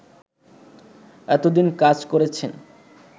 এতোদিন কাজ করেছেন